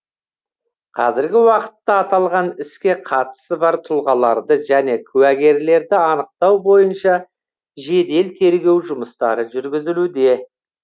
қазіргі уақытта аталған іске қатысы бар тұлғаларды және куәгерлерді анықтау бойынша жедел тергеу жұмыстары жүргізілуде